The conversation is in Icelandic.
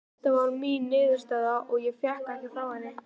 Þeta var mín niðurstaða og ég vék ekki frá henni.